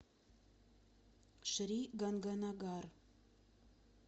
шри ганганагар